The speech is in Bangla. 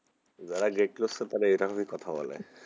যারা great লুইসা তারা এভাবেই কথা বলে,